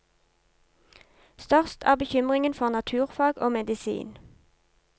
Størst er bekymringen for naturfag og medisin.